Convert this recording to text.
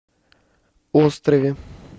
острове